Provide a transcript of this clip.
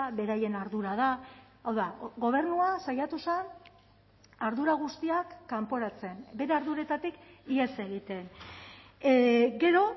beraien ardura da hau da gobernua saiatu zen ardura guztiak kanporatzen bere arduretatik ihes egiten gero